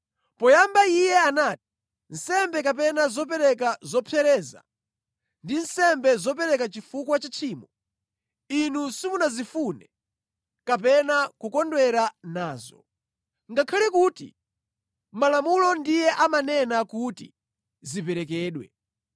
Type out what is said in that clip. Poyamba Iye anati, “Nsembe kapena zopereka zopsereza ndi nsembe zopereka chifukwa cha tchimo, Inu simunazifune kapena kukondwera nazo.” Ngakhale kuti Malamulo ndiye amanena kuti ziperekedwe.